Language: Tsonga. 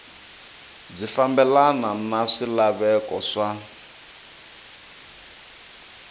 byi fambelana na swilaveko swa